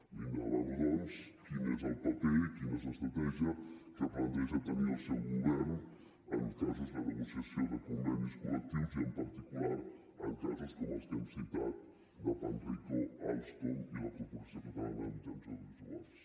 li demano doncs quin és el paper i quina és l’estratègia que planteja tenir el seu govern en casos de negociació de convenis col·lectius i en particular en casos com els que hem citat de panrico alstom i la corporació catalana de mitjans audiovisuals